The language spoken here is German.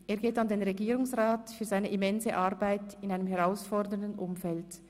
Er geht an den Regierungsrat für seine immense Arbeit in einem herausfordernden Umfeld.